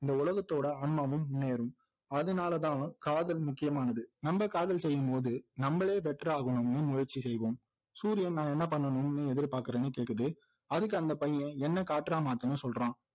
இந்த உலகத்தோட ஆன்மாவும் முன்னேறும் அதுனாலதான் காதல் முக்கியமானது நம்ம காதல் செய்யும்போது நம்மளே better ஆகணும்னு முயற்சி செய்வோம் சூரியன் நான் என்ன பண்ணணும்னு எதிர்பாக்குறேன்னு கேக்குது அதுக்கு அந்த பையன் என்னை காற்றா மாத்துன்னு சொல்றான்